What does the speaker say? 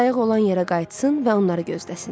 qayıq olan yerə qayıtsın və onları gözləsin.